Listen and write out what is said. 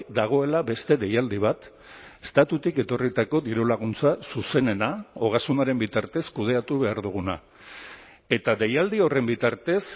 dagoela beste deialdi bat estatutik etorritako dirulaguntza zuzenena ogasunaren bitartez kudeatu behar duguna eta deialdi horren bitartez